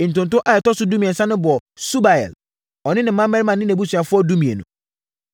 Ntonto a ɛtɔ so dumiɛnsa no bɔɔ Subael, ɔne ne mmammarima ne nʼabusuafoɔ (12)